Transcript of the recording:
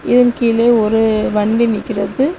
இதன் கீழே ஒரு வண்டி நிக்கிறது.